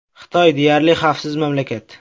Xitoy deyarli xavfsiz mamlakat.